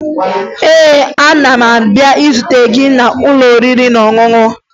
Ee, ana m abịa izute gị n'ụlọ oriri na ọṅụṅụ